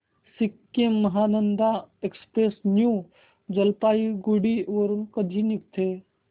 Sikkim Mahananda express new Jalpaiguri वरून कधी निघते